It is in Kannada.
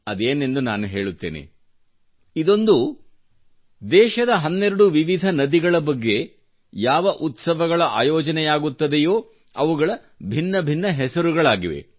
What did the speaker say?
ಸದೇನೆಂದು ನಾನು ಹೇಳುತ್ತೇನೆ ಇದೊಂದು ದೇಶದ ಹನ್ನೆರಡು ವಿವಿಧ ನದಿಗಳ ಬಗ್ಗೆ ಯಾವ ಉತ್ಸವಗಳ ಆಯೋಜನೆಯಾಗುತ್ತದೆಯೋ ಅವುಗಳ ಭಿನ್ನಭಿನ್ನ ಹೆಸರುಗಳಾಗಿವೆ